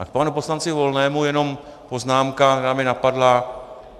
A k panu poslanci Volnému jenom poznámka, která mě napadla.